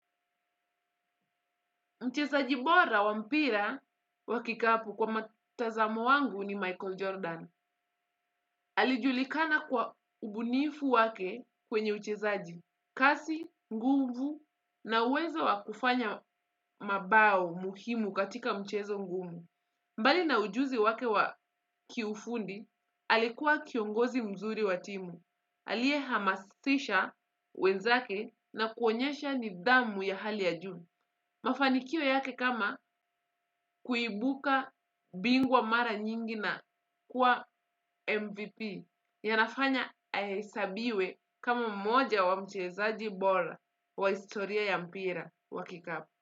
Mchezaji bora wampira wakikapu kwa matazamo wangu ni Michael Jordan. Alijulikana kwa ubunifu wake kwenye uchezaji. Kasi, nguvu na uwezo wakufanya mabao muhimu katika mchezo ngumu. Mbali na ujuzi wake wakiufundi, alikuwa kiongozi mzuri wa timu. Alie hamasisha wenzake na kuonyesha nidhamu ya hali ya juu. Mafanikio yake kama kuibuka bingwa mara nyingi na kua MVP yanafanya haesabiwe kama mmoja wa mchezaji bora wa historia ya mpira wa kikapu.